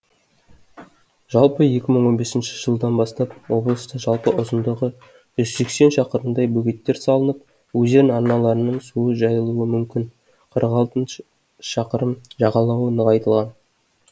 жалпы екі мың он бесінші жылдан бастап облыста жалпы ұзындығы жүз сексен шақырымдай бөгеттер салынып өзен арналарының су жайылуы мүмкін қырық алтыншы шақырым жағалауы нығайтылған